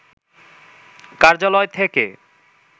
কার্যালয় থেকে